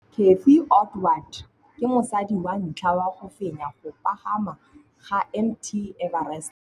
Cathy Odowd ke mosadi wa ntlha wa go fenya go pagama ga Mt Everest.